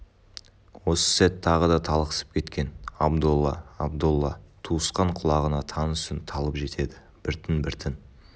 осы сәт тағы да талықсып кеткен абдолла абдолла туысқан құлағына таныс үн талып жетеді біртін-біртін